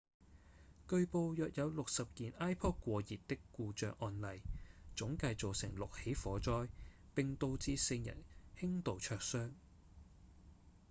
據報約有60件 ipod 過熱的故障案例總計造成6起火災並導致4人輕度灼傷